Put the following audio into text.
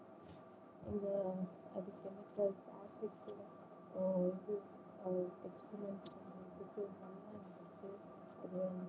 உம்